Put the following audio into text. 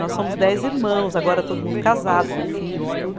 Nós somos dez irmãos, agora todo mundo casado, com filhos e tudo.